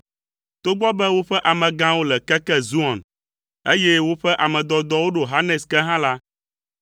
Togbɔ be woƒe amegãwo le keke Zoan, eye woƒe ame dɔdɔwo ɖo Hanes ke hã la,